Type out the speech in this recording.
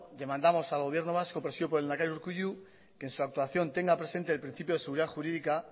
demandamos al gobierno vasco presidido por el lehendakari urkullu que en su actuación tenga presente el principio de seguridad jurídica